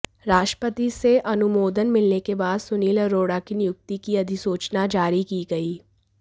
राष्ट्रपति से अनुमोदन मिलने के बाद सुनील अरोड़ा की नियुक्ति की अधिसूचना जारी की गई